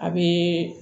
A be